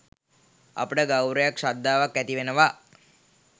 අපට ගෞරවයක් ශ්‍රද්ධාවක් ඇතිවෙනවා